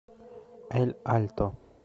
эль альто